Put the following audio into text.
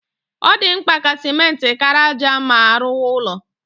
Ọ dị mkpa ka simenti kara ájá ma a rụwa ụlọ